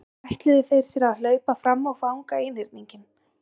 Þá ætluðu þeir sér að hlaupa fram og fanga einhyrninginn.